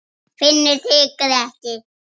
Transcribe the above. Finnur hikaði ekki.